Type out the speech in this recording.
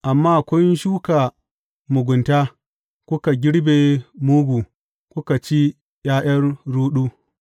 Amma kun shuka mugunta, kuka girbe mugu kuka ci ’ya’yan ruɗu.